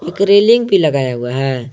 एक रेलिंग भी लगाया हुआ है।